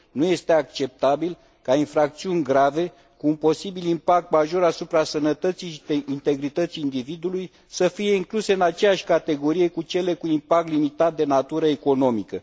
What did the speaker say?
Nu este acceptabil ca infracțiuni grave, cu un posibil impact major asupra sănătății și integrității individului, să fie incluse în aceeași categorie cu cele cu impact limitat, de natură economică.